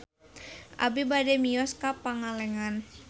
Abi bade mios ka Pangalengan